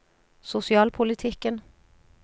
sosialpolitikken